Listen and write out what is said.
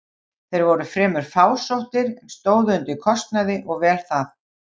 Þeir voru fremur fásóttir, en stóðu undir kostnaði og vel það.